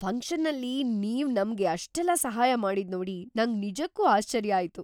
ಫಂಕ್ಷನ್ನಲ್ಲಿ ನೀವ್‌ ನಮ್ಗೆ ಅಷ್ಟೆಲ್ಲ ಸಹಾಯ ಮಾಡಿದ್ನೋಡಿ ನಂಗ್ ನಿಜಕ್ಕೂ ಆಶ್ಚರ್ಯ ಆಯ್ತು.